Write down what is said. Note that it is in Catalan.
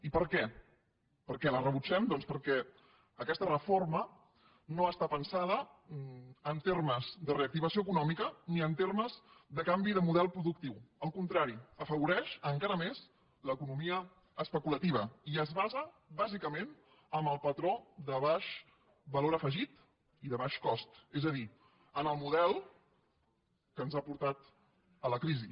i per què per què la rebutgem doncs perquè aquesta reforma no està pensada en termes de reactivació econòmica ni en termes de canvi de model productiu al contrari afavoreix encara més l’economia especulativa i es basa bàsicament en el patró de baix valor afegit i de baix cost és a dir en el model que ens ha portat a la crisi